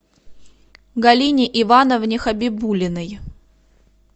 галине ивановне хабибуллиной